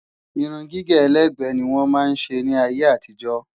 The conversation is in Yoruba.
Irun gígé ẹlẹ́gbẹ́ ni wọ́n máa ń ṣe ní ayé àtijọ́